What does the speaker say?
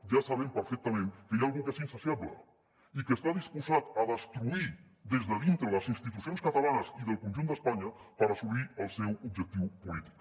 ja sabem perfectament que hi ha algú que és insaciable i que està disposat a destruir des de dintre les institucions catalanes i el conjunt d’espanya per assolir el seu objectiu polític